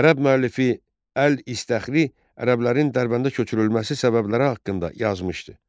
Ərəb müəllifi əl İstəxri ərəblərin Dərbəndə köçürülməsi səbəbləri haqqında yazmışdı.